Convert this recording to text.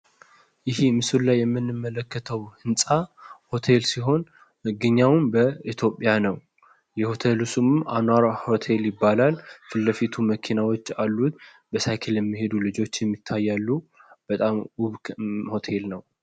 ይሀ ምስሉ ላይ የምንመለከተው ህንጻ ሆቴል ሲሆን መገኛውም በኢትዮጵያ ነው። የሆቴሉ ስምም አሲኗራ ሆቴል ይባላል። ፊትለፊቱ መኪናዎች አሉት በሳይክል የሚሄዱ ልጆችም ይታያሉ። ቦታዉም ዉብ ሆቴል ነው።